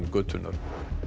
götunnar